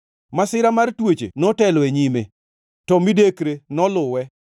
Masira mar tuoche notelo e nyime; to midekre noluwe.